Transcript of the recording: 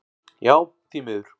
Já því miður.